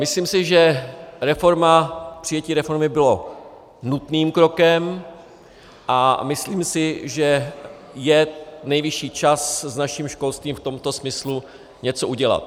Myslím si, že přijetí reformy bylo nutným krokem, a myslím si, že je nejvyšší čas s naším školstvím v tomto smyslu něco udělat.